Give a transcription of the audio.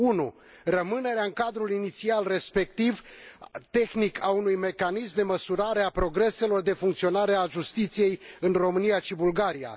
1. rămânerea în cadrul inițial, respectiv cel tehnic, al unui mecanism de măsurare a progreselor de funcționare a justiției în România și Bulgaria